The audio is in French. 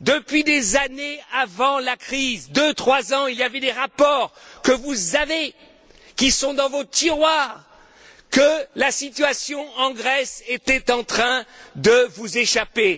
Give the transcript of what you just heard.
depuis des années avant la crise, deux, trois ans il y avait des rapports que vous avez, qui sont dans vos tiroirs que la situation en Grèce était en train de vous échapper.